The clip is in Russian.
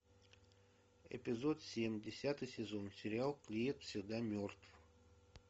эпизод семь десятый сезон сериал клиент всегда мертв